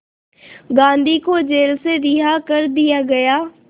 गांधी को जेल से रिहा कर दिया गया